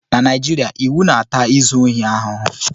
Na Naijiria, iwu na-ata izu ohi ahụhụ